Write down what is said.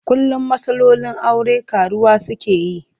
Kullum matsalolin aure ƙaruwa suke yi.